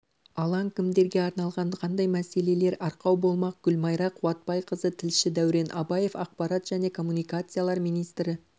алаң кімдерге арналған қандай мәселелер арқау болмақ гүлмайра қуатбайқызы тілші дәурен абаев ақпарат және коммуникациялар министрі